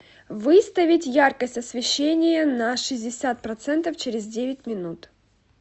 выставить яркость освещение на шестьдесят процентов через девять минут